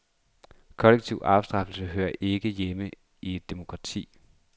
Kollektiv afstraffelse hører ikke hjemme i et demokrati.